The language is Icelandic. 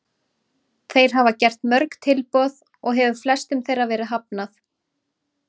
Þeir hafa gert mörg tilboð og hefur flestum þeirra verið hafnað.